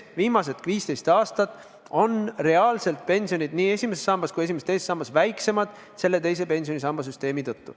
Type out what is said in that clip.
Viimased 15 aastat on pensionid nii esimeses sambas kui esimeses-teises sambas väiksemad selle teise pensionisamba tõttu.